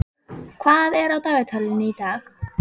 Jórlaug, hvað er á dagatalinu í dag?